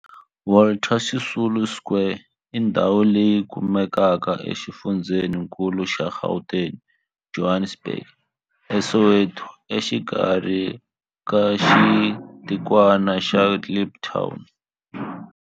Walter Sisulu Square i ndhawu leyi kumekaka exifundzheni-nkulu xa Gauteng, Johannesburg, a Soweto, exikarhi ka xitikwana xa Kliptown.